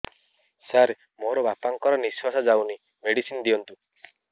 ସାର ମୋର ବାପା ଙ୍କର ନିଃଶ୍ବାସ ଯାଉନି ମେଡିସିନ ଦିଅନ୍ତୁ